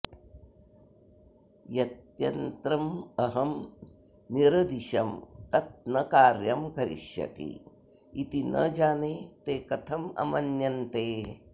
यत्यन्त्रमहं निरदिशं तत् न कार्यं करिष्यति इति न जाने ते कथं अमन्यन्ते